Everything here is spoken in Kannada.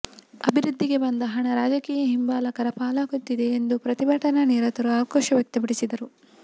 ಅಭಿವೃದ್ಧಿಗೆ ಬಂದ ಹಣ ರಾಜಕೀಯ ಹಿಂಬಾಲಕರ ಪಾಲಾಗುತ್ತಿದೆ ಎಂದು ಪ್ರತಿಭಟನಾ ನಿರತರು ಆಕ್ರೋಶ ವ್ಯಕ್ತಪಡಿಸಿದರು